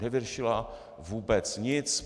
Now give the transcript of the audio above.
Nevyřešila vůbec nic.